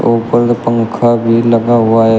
उपर मे पंखा भी लगा हुआ है।